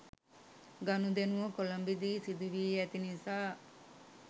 ගනුදෙනුව කොළඹ දී සිදුවී ඇති නිසා